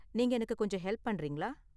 நீங்க எனக்கு கொஞ்சம் ஹெல்ப் பண்றீங்களா?